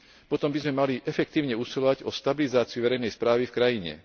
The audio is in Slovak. potom by sme mali efektívne usilovať o stabilizáciu verejnej správy v krajine.